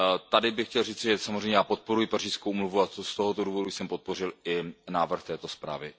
Tady bych chtěl říci, já samozřejmě podporuji Pařížskou úmluvu a z tohoto důvodu jsem podpořil i návrh této zprávy.